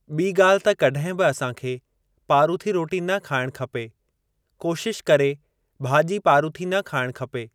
ॿी ॻाल्हि त कॾहिं बि असां खे पारूथी रोटी न खाइण खपे कोशिश करे भाॼी पारूथी न खाइणु खपे।